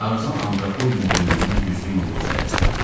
Tarzan antropoidin böyründən güclü yumruq zərbəsi vurdu.